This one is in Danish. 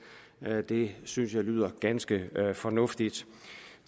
det synes jeg lyder ganske fornuftigt